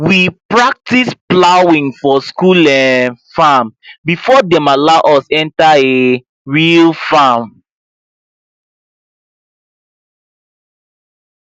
we practice plowing for school um farm before dem allow us enter um real farm